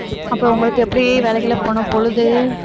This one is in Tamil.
அப்புறம் உங்களுக்கு எப்படி வேலைக்கெல்லாம் போனா பொழுது